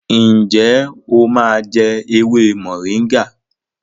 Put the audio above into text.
njé o má jé ewé Moringa?